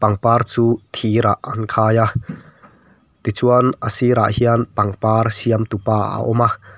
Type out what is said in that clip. par chu thir ah an khai a tichuan a sirah hian pangpar siamtu pa a awm a.